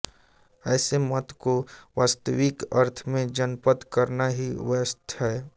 ऐसे मत को वास्तविक अर्थ में जनमत कहना ही व्यर्थ है